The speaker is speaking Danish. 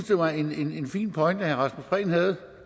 det var en fin pointe herre rasmus prehn havde